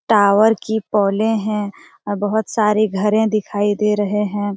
Tower की pole है और बहुत सारे घर है दिखाई दे रहे हैं।